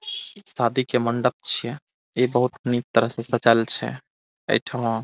शादी के मंडप छिये ऐ बहोत निक तरह से सजाल छे ऐठमां।